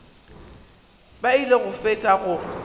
ba ile go fetša go